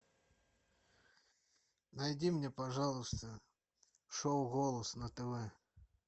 найди мне пожалуйста шоу голос на тв